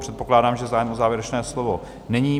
Předpokládám, že zájem o závěrečné slovo není.